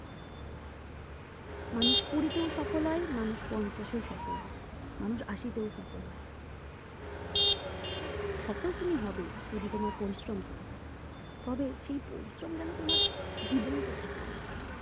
মানুষ কুড়িতেও সফল হয় মানুষ পঞ্চাশেও সফল হয় মানুষ আশিতেও সফল হয় সফল তুমি হবেই যদি তোমার পরিশ্রম থেকে থাকে তবে সেই পরিশ্রম যেন তোমার জীবনকে চাপিয়ে না যাই